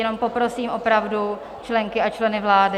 Jenom poprosím opravdu členky a členy vlády...